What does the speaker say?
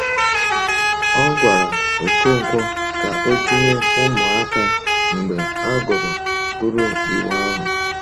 O gwara Okonkwo ka o tinye “ụmụaka” mgbe a gụrụ gụrụ Iwu ahụ.